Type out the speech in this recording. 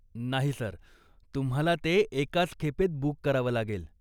नाही सर, तुम्हाला ते एकाच खेपेत बूक करावं लागेल.